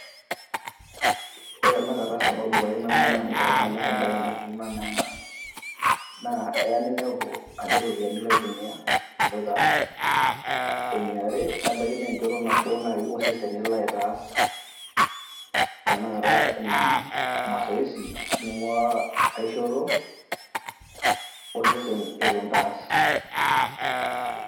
Ore tanakata sababu aii paamanyorr ebae naikununo enaa ena naa Aya ninepu ajo iropiyiani entumia eloito aas, eniare nebaki naa enchoto osesen naaji elo aitaas. Enaata Ina mosoesi ningu'a enkae shoto Eton eitu intaas.